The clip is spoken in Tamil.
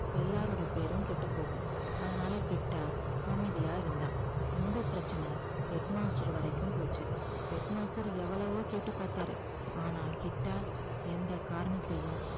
எல்லாரோட பேரும் கெட்டுப் போகும் அதனால கிட்டா அமைதியா இருந்தான் இந்தப் பிரச்சனை head master வரைக்கும் போச்சு head master எவ்வளவோ கேட்டுப்பாத்தாரு ஆனா கிட்டா எந்த காரணத்தையும்